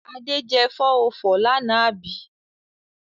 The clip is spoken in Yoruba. Ade jẹ 404 lánàá àbí?